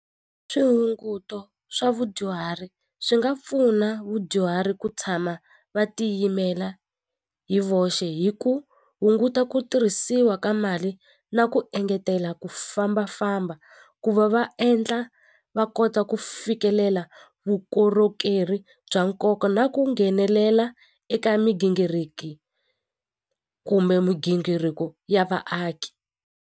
Swihunguto swa vadyuhari swi nga pfuna vadyuhari ku tshama va tiyimela hi voxe hi ku hunguta ku tirhisiwa ka mali na ku engetela ku fambafamba ku va va endla va kota ku fikelela vukorhokeri bya nkoka na ku nghenelela eka migingiriki kumbe migingiriko ya vaaki.